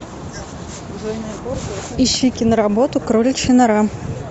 ищи киноработу кроличья нора